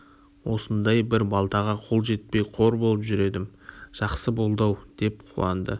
осындай бір балтаға қол жетпей қор болып жүр едім жақсы болды-ау деп қуанды